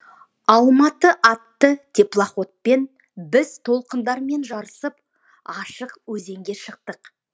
алматы атты теплоходпен біз толқындармен жарысып ашық өзенге шықтық